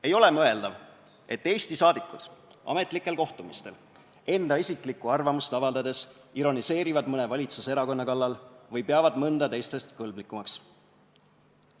Ei ole mõeldav, et Eesti saadikud ametlikel kohtumistel enda isiklikku arvamust avaldades ironiseerivad mõne valitsuserakonna kallal või peavad mõnda teistest kõlblikumaks.